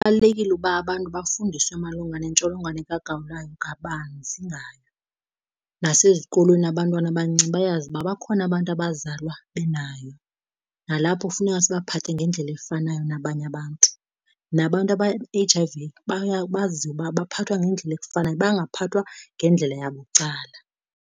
Kubalulekile ukuba abantu bafundiswe malunga nentsholongwane kagawulayo kabanzi ngayo. Nasezikolweni abantwana abancinci bayazi uba bakhona abantu abazalwa benayo nalapho kufuneka sibaphathe ngendlela efanayo nabanye abantu, nabantu aba-H_I_V bazi uba baphathwa ngendlela efanayo bangaphathwa ngendlela yabucala.